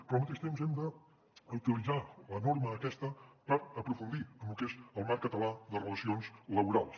però al mateix temps hem d’utilitzar la norma aquesta per aprofundir en lo que és el marc català de relacions laborals